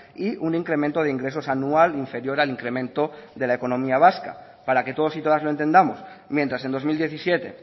y un incremento de ingresos anual inferior al incremento de la economía vasca para que todos y todas lo entendamos mientras en dos mil diecisiete